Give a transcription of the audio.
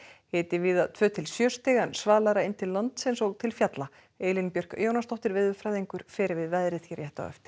hiti víða tveggja til sjö stig en svalara inn til landsins og til fjalla Elín Björk Jónasdóttir veðurfræðingur fer yfir veðrið hér rétt á eftir